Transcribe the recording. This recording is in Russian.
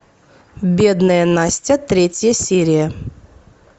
бедная настя третья серия